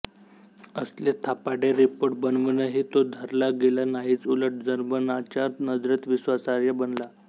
असले थापाडे रिपोर्ट बनवूनही तो धरला गेला नाहीच उलट जर्मनांच्या नजरेत विश्वासार्ह बनला